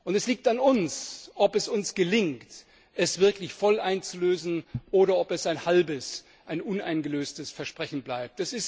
Es liegt an uns, ob es uns gelingt, es wirklich voll einzulösen, oder ob es ein halbes, ein uneingelöstes Versprechen bleibt.